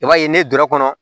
I b'a ye ne dɔrɔ kɔnɔ